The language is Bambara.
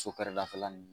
So kɛrɛdafɛla nin